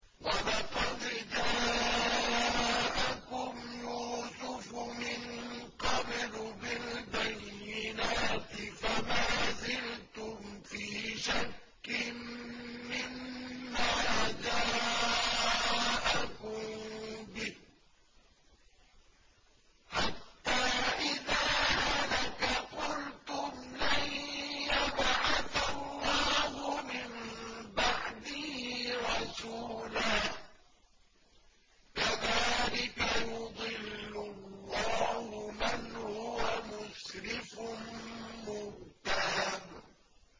وَلَقَدْ جَاءَكُمْ يُوسُفُ مِن قَبْلُ بِالْبَيِّنَاتِ فَمَا زِلْتُمْ فِي شَكٍّ مِّمَّا جَاءَكُم بِهِ ۖ حَتَّىٰ إِذَا هَلَكَ قُلْتُمْ لَن يَبْعَثَ اللَّهُ مِن بَعْدِهِ رَسُولًا ۚ كَذَٰلِكَ يُضِلُّ اللَّهُ مَنْ هُوَ مُسْرِفٌ مُّرْتَابٌ